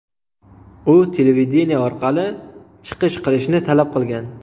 U televideniye orqali chiqish qilishni talab qilgan.